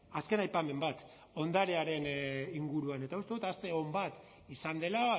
azken aipamen bat ondarearen inguruan eta uste dut aste on bat izan dela